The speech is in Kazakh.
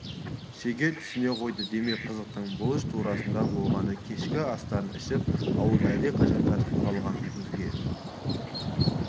шеге түсіне қойды демек қызықтың бұлыш турасында болғаны кешкі астарын ішіп ауыл әлдеқашан жатып қалған көзге